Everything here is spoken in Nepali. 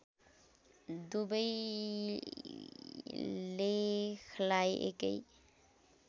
दुवै लेखलाई एकै